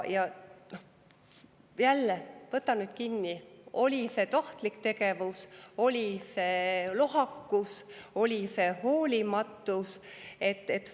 Jälle, võta nüüd kinni: oli see tahtlik tegevus, oli see lohakus, oli see hoolimatus?